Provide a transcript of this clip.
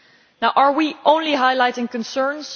Now, are we only highlighting concerns?